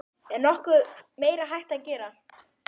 Er nokkuð meira hægt að gera?